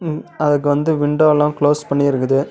அதுக்கு வந்து விண்டோலாம் க்ளோஸ் பண்ணி இருக்குது.